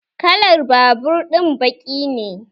Kalan babur ɗin baki ne